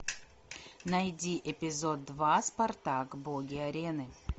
найди эпизод два спартак боги арены